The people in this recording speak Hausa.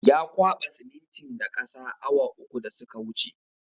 Ya kwaba siminitin da ƙasa awa uku da suka wuce